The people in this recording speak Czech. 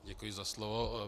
Děkuji za slovo.